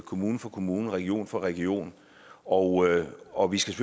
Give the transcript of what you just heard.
kommune for kommune og region for region og og vi skal